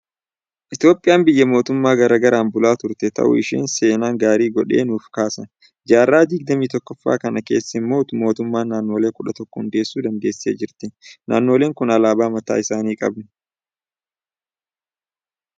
Itoophiyaan biyya mootummoota gara garaan bulaa turte ta'uu ishee seen gaarii godhee nuuf kaasa. Jaarraa digdamii tokkoffaa kana keessa immoo mootummoota Naannolee kudha tokko hundeessuu dandeessee jirti. Naannoleen kun alaabaa mataa isaanii qabu.